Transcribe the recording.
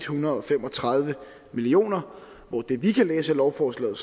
hundrede og fem og tredive million kr hvor det vi kan læse af lovforslaget